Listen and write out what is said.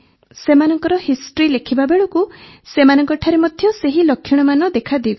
ସେମାନଙ୍କ ହିଷ୍ଟ୍ରି ଲେଖିବା ବେଳକୁ ସେମାନଙ୍କଠାରେ ମଧ୍ୟ ସେହି ଲକ୍ଷଣମାନ ଦେଖାଦେଉଥିଲା